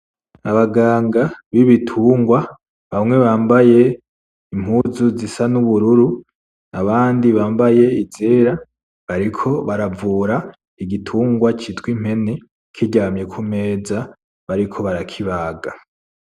Abaganga bibitungwa bamwe bambaye impuzu zisa n'ubururu abandi bambaye izera, bariko baravura igitungwa citwa impene kiryamye kumeza, bariko barakibaga.